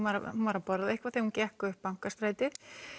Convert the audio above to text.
var að borða eitthvað þegar hún gekk upp Bankastrætið